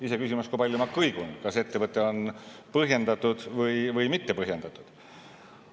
Iseküsimus, kui palju ma kõigun, kas etteheide on põhjendatud või mittepõhjendatud.